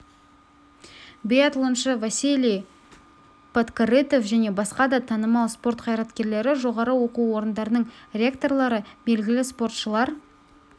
биатлоншы василий подкорытов және басқа да танымал спорт қайраткерлері жоғары оқу орындарының ректорлары белгілі спортшылар